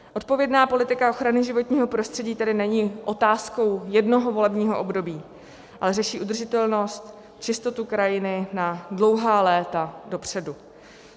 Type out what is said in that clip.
Odpovědná politika ochrany životního prostředí tedy není otázkou jednoho volebního období, ale řeší udržitelnost, čistotu krajiny na dlouhá léta dopředu.